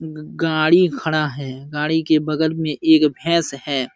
ग गाड़ी खड़ा है। गाड़ी के बगल में एक भैंस है।